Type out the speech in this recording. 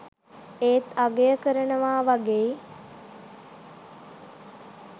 ඒත් අගය කරනවා වගෙයි .